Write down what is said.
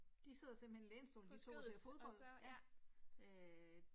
De sidder simpelthen i lænestolen de 2 og ser fodbold ja øh